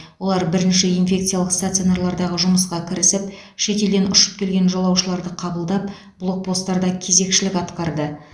олар бірінші инфекциялық стационарлардағы жұмысқа кірісіп шетелден ұшып келген жолаушыларды қабылдап блокпостарда кезекшілік атқарды